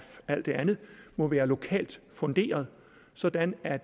alt det andet må være lokalt funderet sådan at